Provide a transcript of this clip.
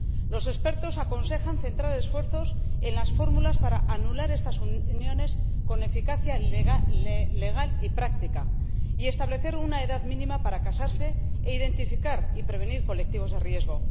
Los expertos aconsejan centrar los esfuerzos en las fórmulas para anular estas uniones con eficacia legal y práctica, establecer una edad mínima para casarse e identificar y prevenir colectivos de riesgo.